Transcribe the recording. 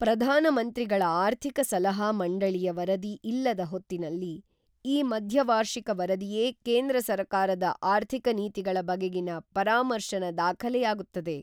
ಪ್ರಧಾನಮಂತ್ರಿಗಳ ಆರ್ಥಿಕ ಸಲಹಾ ಮಂಡಳಿಯ ವರದಿ ಇಲ್ಲದ ಹೊತ್ತಿನಲ್ಲಿ ಈ ಮಧ್ಯವಾರ್ಷಿಕ ವರದಿಯೇ ಕೇಂದ್ರ ಸರಕಾರದ ಆರ್ಥಿಕ ನೀತಿಗಳ ಬಗೆಗಿನ ಪರಾಮರ್ಶನ ದಾಖಲೆಯಾಗುತ್ತದೆ.